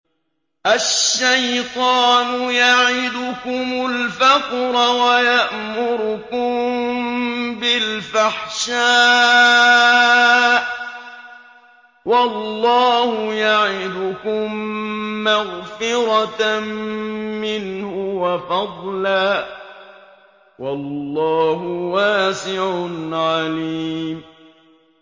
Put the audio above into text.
الشَّيْطَانُ يَعِدُكُمُ الْفَقْرَ وَيَأْمُرُكُم بِالْفَحْشَاءِ ۖ وَاللَّهُ يَعِدُكُم مَّغْفِرَةً مِّنْهُ وَفَضْلًا ۗ وَاللَّهُ وَاسِعٌ عَلِيمٌ